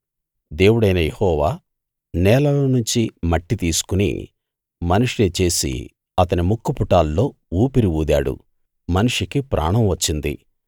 దేవుడైన యెహోవా నేలలో నుంచి మట్టి తీసుకుని మనిషిని చేసి అతని ముక్కుపుటాల్లో ఊపిరి ఊదాడు మనిషికి ప్రాణం వచ్చింది